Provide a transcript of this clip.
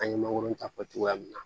An ye mangoron ta fɔ cogoya min na